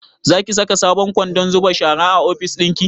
Zaki saka sabon kwandon zuba shara a ofis ɗinki?